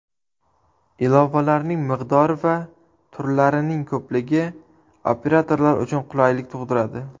Ilovalarning miqdori va turlarining ko‘pligi operatorlar uchun qulaylik tug‘diradi.